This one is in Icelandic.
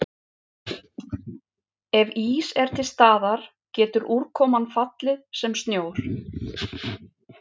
Ef ís er til staðar getur úrkoman fallið sem snjór.